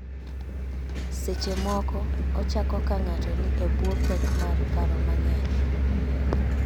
Seche moko, ochako ka ng�ato ni e bwo pek mar paro mang�eny.